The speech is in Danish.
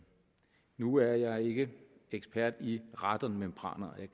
nu er jeg ikke ekspert i radonmembraner